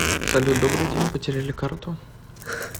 салют добрый день потеряли карту